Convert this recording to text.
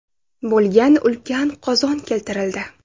bo‘lgan ulkan qozon keltirildi.